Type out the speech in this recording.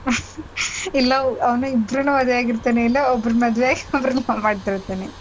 ಇಲ್ಲ ಅವ್ನು ಇಬ್ರನ್ನು ಮದ್ವೆ ಆಗಿರ್ತಾನೆ ಇಲ್ಲ ಒಬ್ರುನ್ನ ಮದ್ವೆ ಆಗಿ ಒಬ್ರುನ್ನ love ಮಾಡ್ತಿರ್ತಾನೆ.